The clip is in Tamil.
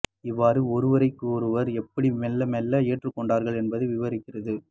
இருவரும் ஒருவரை ஒருவர் எப்படி மெல்ல மெல்ல ஏற்றுக்கொண்டார்கள் என்பதை விவரிக்கிறது